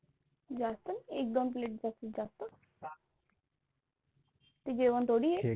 जास्त नाही एक दोन plate जास्तीत जास्त ते जेवण थोडी आहे.